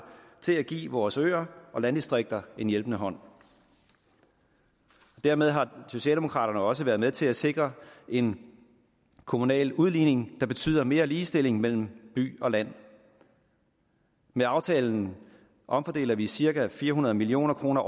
til at give vores øer og landdistrikter en hjælpende hånd dermed har socialdemokraterne også været med til at sikre en kommunal udligning der betyder mere ligestilling mellem by og land med aftalen omfordeler vi årligt cirka fire hundrede million kroner